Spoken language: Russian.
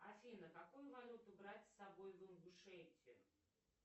афина какую валюту брать с собой в ингушетию